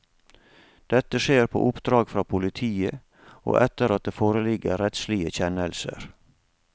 Dette skjer på oppdrag fra politiet, og etter at det foreligger rettslige kjennelser.